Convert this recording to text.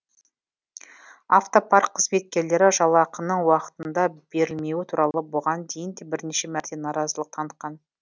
автопарк қызметкерлері жалақының уақытында берілмеуі туралы бұған дейін де бірнеше мәрте наразылық танытқан